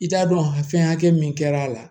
I t'a dɔn fɛnkɛ min kɛra a la